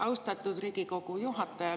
Austatud Riigikogu juhataja!